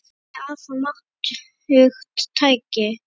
Listin er afar máttugt tæki.